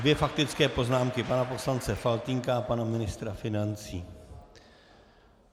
Dvě faktické poznámky, pana poslance Faltýnka a pana ministra financí.